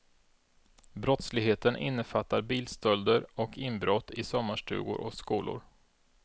Brottsligheten innefattar bilstölder och inbrott i sommarstugor och skolor.